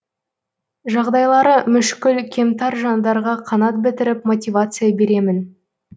жағдайлары мүшкіл кемтар жандарға қанат бітіріп мотивация беремін